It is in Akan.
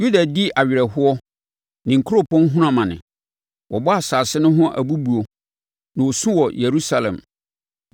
“Yuda di awerɛhoɔ ne nkuropɔn hunu amane. Wɔbɔ asase no ho abubuo, na wɔsu wɔ Yerusalem.